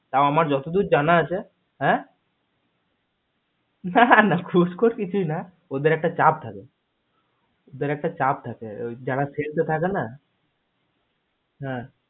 তও আমার যতদূর জানা আছে হ্যা না না ঘুস খোর কিছুই না ওদের একটা চাপ থাকে ওদের একটা চাপ থাকে যারা field এ থাকে না